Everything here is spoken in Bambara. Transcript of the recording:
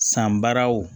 San baaraw